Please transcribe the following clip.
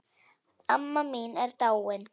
Amma mín er dáin.